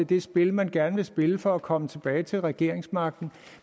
det spil man gerne vil spille for at komme tilbage til regeringsmagten